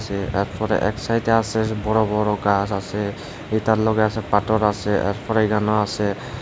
আসে তারপরে এক সাইড এ আসে বড় বড় গাছ আসে এটার লগে আসে পাতর আসে আর পরে আসে।